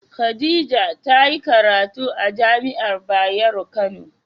Khadijah ta yi karatu amajai'a Bayero kano